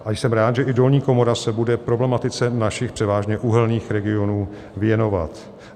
A jsem rád, že i dolní komora se bude problematice našich převážně uhelných regionů věnovat.